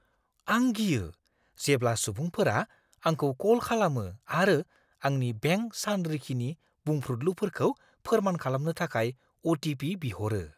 आं गियो जेब्ला सुबुंफोरा आंखौ कल खालामो आरो आंनि बेंक सानरिखिनि बुंफ्रुदलुफोरखौ फोरमान खालामनो थाखाय अ.टि.पि. बिहरो।